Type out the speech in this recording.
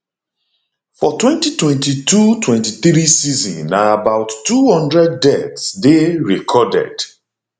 for 202223 season na about two hundred deaths dey recorded